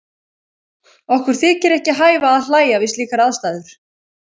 Okkur þykir ekki hæfa að hlæja við slíkar aðstæður.